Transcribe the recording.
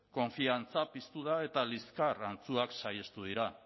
konfiantza piztu da eta liskar antzuak saihestu dira